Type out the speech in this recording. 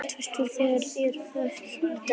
Kristvarður, hvernig er dagskráin í dag?